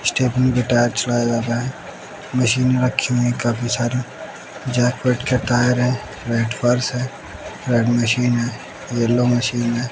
Stephanie के tyre छुड़ाय जाते है मशीन रखी हुई है काफी सारी जेटपेट का टायर है रेड फ़र्श है रेड मशीन है यल्लो मशीन है।